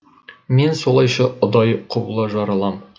мен солайша ұдайы құбыла жаралам